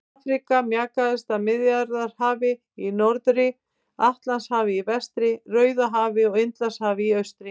Afríka markast af Miðjarðarhafi í norðri, Atlantshafi í vestri, Rauðahafi og Indlandshafi í austri.